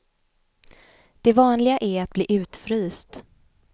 Det vanliga är att bli utfryst.